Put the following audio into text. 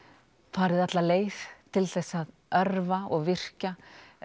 farið alla leið til þess að örva og virkja